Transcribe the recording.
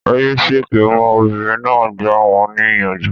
Ẹ yé ṣèké mọ́! Obìnrin náà gbà wọn ní ìyànjú